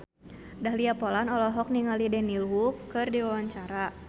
Dahlia Poland olohok ningali Daniel Wu keur diwawancara